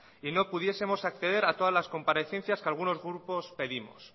y no pudiesemos acceder a todas las comparecencias que algunos grupo pedimos